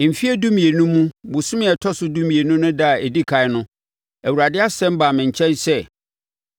Mfeɛ dumienu mu, bosome a ɛtɔ so dumienu no ɛda a ɛdi ɛkan no, Awurade asɛm baa me nkyɛn sɛ: